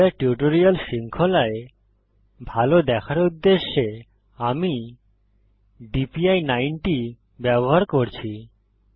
Blender tutorial শৃঙ্খলায় ভাল দেখার উদ্দেশ্যে আমি DPI90 ব্যবহার করছি